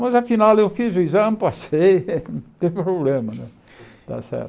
Mas afinal eu fiz o exame, passei, não tem problema. Né tá certo